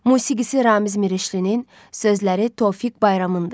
Musiqisi Ramiz Mirişlinin, sözləri Tofiq Bayramındır.